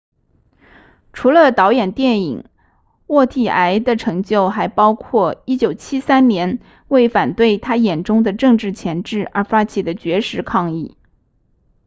除了导演电影沃蒂埃的成就还包括1973年为反对他眼中的政治钳制而发起的绝食抗议